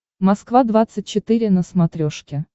москва двадцать четыре на смотрешке